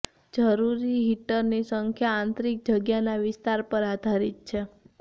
જરૂરી હીટરની સંખ્યા આંતરિક જગ્યાના વિસ્તાર પર આધારિત છે